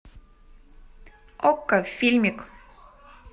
окко фильмик